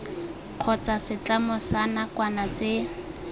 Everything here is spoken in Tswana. kgotsa setlamo sa nakwana tse